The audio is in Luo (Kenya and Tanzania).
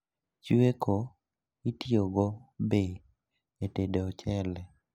Chweko itiyogo be e tedo ochele